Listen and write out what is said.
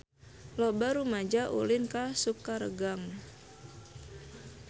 Loba rumaja ulin ka Sukaregang